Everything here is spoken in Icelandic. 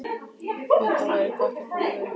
Hvað það væri gott að koma við þig.